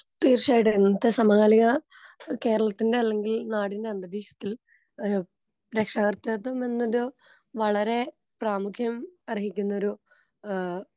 തീർച്ചയായിട്ടും ഇന്നത്തെ സമകാലിക ഏ കേരളത്തിന്റെ അല്ലെങ്കിൽ നാടിൻറെ രക്ഷാകർതൃത്വം എന്നത് വളരേ പ്രാമുഖ്യം അർഹിക്കുന്നൊരു ആ.